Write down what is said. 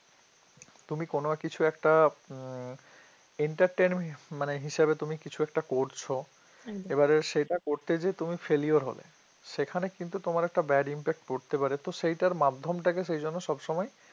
তুমি কোন কিছু একটা উম entertainment মানে হিসাবে তুমি কিছু একটা করছ এ বারে সেটা করতে গিয়ে তুমি failure হলে সেখানে কিন্তু তোমার একটা bad impact করতে পারে তো সেটার মাধ্যমটাকে সেই জন্য সবসময়